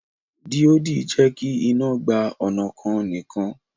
Díòdì jẹ́kí iná gba ọnà kan nìkan